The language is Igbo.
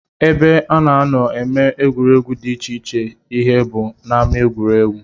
Ebe a na-anọ eme egwuregwu dị iche ihe bụ n'ámá egwuregwu